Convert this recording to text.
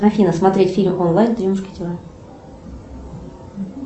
афина смотреть фильм онлайн три мушкетера